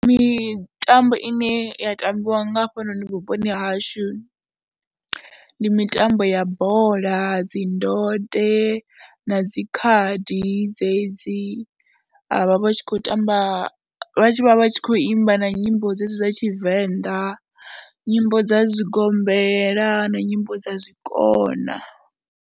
Mitambo ine ya tambiwa nga hafhanoni vhuponi hashu ndi mitambo ya bola, dzi ndode na dzi khadi dzedzi, vha vha vha tshi khou tamba, vha tshi khou imba na nyimbo dzedzi dza Tshivenḓa, nyimbo dza zwigombela na nyimbo dza zwikona.